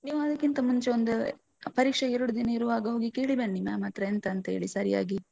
ನೀವು ಅದಕ್ಕಿಂತ ಮುಂಚೆ ಒಂದು ಎ ಪರೀಕ್ಷೆಗೆ ಎರಡು ದಿನ ಇರುವಾಗ ಹೋಗಿ ಕೇಳಿ ಬನ್ನಿ ma'am ಹತ್ರ ಎಂತ ಅಂತ ಹೇಳಿ ಸರಿಯಾಗಿ.